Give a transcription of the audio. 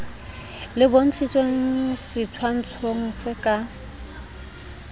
le bontshitshweng setshwantshong se ka